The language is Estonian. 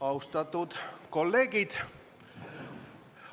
Austatud kolleegid!